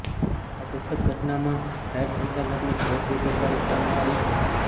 આ દુઃખદ ઘટનામાં રાઈડ સંચાલકની ઘોર બેદરકારી સામે આવી છે